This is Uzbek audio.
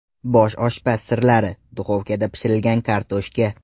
Bosh oshpaz sirlari: duxovkada pishirilgan kartoshka.